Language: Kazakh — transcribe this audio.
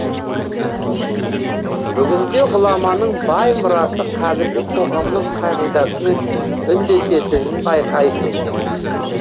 бүгінде ғұламаның бай мұрасы қазіргі қоғамның қағидасымен үндесетінін байқайсың